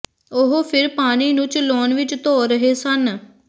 ਉਹ ਫਿਰ ਪਾਣੀ ਨੂੰ ਚਲਾਉਣ ਵਿਚ ਧੋ ਰਹੇ ਸਨ